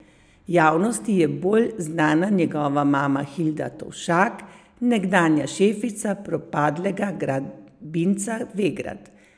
Javnosti je bolj znana njegova mama Hilda Tovšak, nekdanja šefica propadlega gradbinca Vegrad.